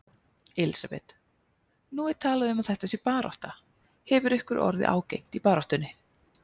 Elísabet: Nú er talað um að þetta sé barátta, hefur ykkur orðið ágengt í baráttunni?